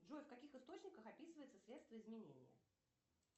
джой в каких источниках описывается средство изменения